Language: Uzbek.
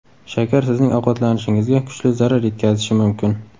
Shakar sizning ovqatlanishingizga kuchli zarar yetkazishi mumkin.